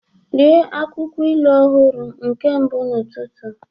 Rie akwụkwọ ilu ọhụrụ nke mbụ n'ụtụtụ!